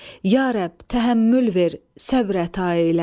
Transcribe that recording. Ya Rəbb, təhəmmül ver, səbr əta elə.